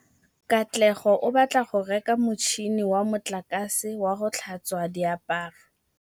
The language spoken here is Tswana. Katlego o batla go reka motšhine wa motlakase wa go tlhatswa diaparo.